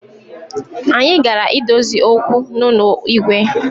Anyi gara idozi okwu n’ụnọ Igwe